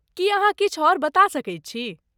की अहाँ किछु आओर बता सकैत छी?